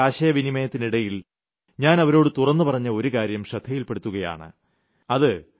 അവരുമായി നടത്തിയ ആശയവിനിമയത്തിനിടയിൽ ഞാൻ അവരോട് തുറന്നുപറഞ്ഞ ഒരു കാര്യം ശ്രദ്ധയിൽപ്പെടുത്തുകയാണ്